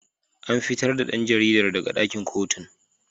An fitar da dan jaridar daga dakin kotun.